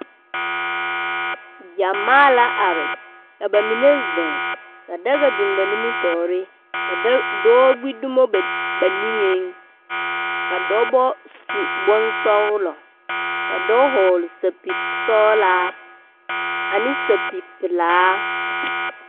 Gyamaa la are, ka ba mine zeŋ, ka daga biŋ ba niŋeŋ, ka dɔɔ gbi dumo ba niŋeŋ, ka dɔbɔ su bonsɔglɔ, ka dɔɔ hɔɔle sapil sɔglaa ane sapil pelaa